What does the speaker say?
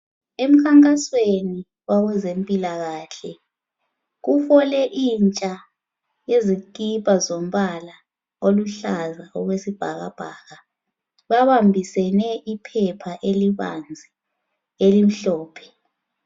Emkhankasweni wakwezempilakahle kufole intsha yezikipa zombala oluhlaza okwesibhakabhaka babambisane iphepha elibanzi elimhlophe.